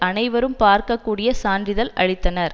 அனைவரும் பார்க்க கூடிய சான்றிதழ் அளித்தனர்